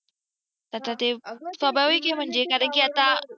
आता ते स्वाभाविक आहे म्हणजे, कारण की आता